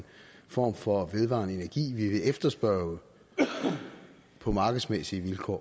form for vedvarende energi vi vil efterspørge på markedsmæssige vilkår